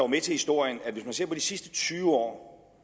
med til historien at hvis man ser på de sidste tyve år